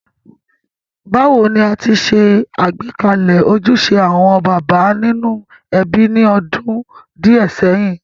Bàwoni a ti se àgbékalẹ̀ ojúse àwon bàbá nínú ebí ni odún díẹ̀ séyìn.?